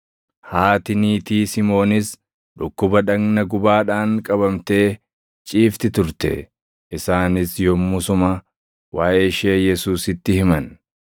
Haati niitii Simoonis dhukkuba dhagna gubaadhaan qabamtee ciifti turte; isaanis yommusuma waaʼee ishee Yesuusitti himan.